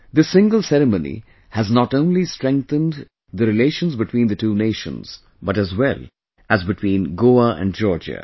This single ceremony has not only strengthened the relations between the two nations but as well as between Goa and Georgia